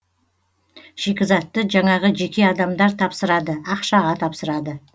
шикізатты жаңағы жеке адамдар тапсырады ақшаға тапсырады